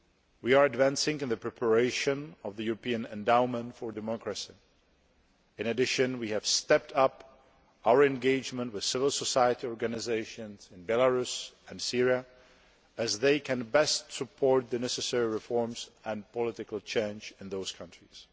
We are advancing in the preparation of the European Endowment for Democracy. In addition, we have stepped up our engagement with civil society organisations in Belarus and Syria, as they can best support the necessary reforms and political change in those countries.